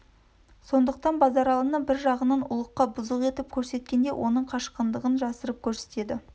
сондықтан базаралыны бір жағынан ұлыққа бұзық етіп көрсеткенде оның қашқындығын жасырып көрсетеді